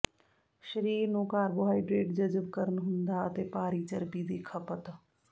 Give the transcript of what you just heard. ਸਰੀਰ ਨੂੰ ਕਾਰਬੋਹਾਈਡਰੇਟ ਜਜ਼ਬ ਕਰਨ ਹੁੰਦਾ ਅਤੇ ਭਾਰੀ ਚਰਬੀ ਦੀ ਖਪਤ